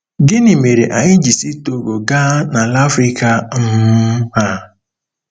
Gịnị mere anyị ji si Togo gaa n'ala Africa um a?